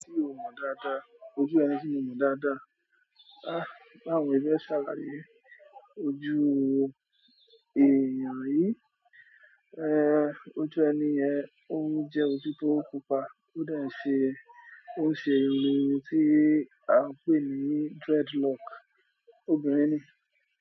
Ti o mọ dáadáa, ojú ẹni tí mo mọ dáadáa. Báwo ni mo se salaye aláye ojú èèyàn yìí. Ojú ẹni yen, ó ń jẹ ojú tio pupa, ó de ṣé ó ń ṣe ohun tí a ń pè ní dreadlock. Obìnrin ni.